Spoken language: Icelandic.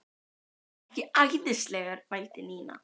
Er hann ekki æðislegur? vældi Nína.